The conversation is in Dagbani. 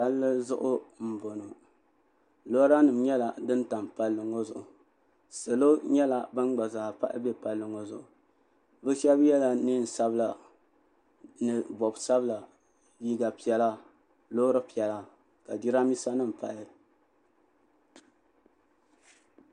palli zuɣu m-bɔŋɔ lɔranima nyɛla ban tam palli ŋɔ zuɣu salo nyɛla gba zaa pahi m-be palli ŋɔ zuɣu bɛ shaba yela neen' sabila ni bɔb' sabila liiga piɛla loori piɛla ka jirambisanima pahi